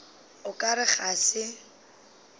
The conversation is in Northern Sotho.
o ka re ga se